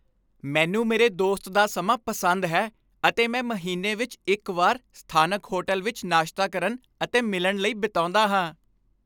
ਮੈਨੂੰ ਮੇਰੇ ਦੋਸਤ ਦਾ ਸਮਾਂ ਪਸੰਦ ਹੈ ਅਤੇ ਮੈਂ ਮਹੀਨੇ ਵਿੱਚ ਇੱਕ ਵਾਰ ਸਥਾਨਕ ਹੋਟਲ ਵਿੱਚ ਨਾਸ਼ਤਾ ਕਰਨ ਅਤੇ ਮਿਲਣ ਲਈ ਬਿਤਾਉਂਦਾ ਹਾਂ।